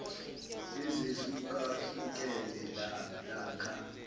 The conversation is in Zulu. ezehluka hlukene lakha